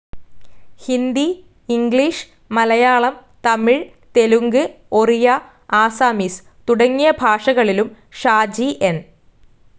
Hindi, English, Malayalam, Tamil, Telugu, Oriya, Assamese തുടങ്ങിയ ഭാഷകളിലും Shaji N.